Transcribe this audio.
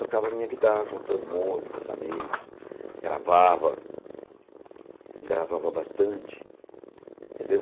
Tocava minha guitarra com todo mundo, com os amigos, gravava, gravava bastante, entendeu?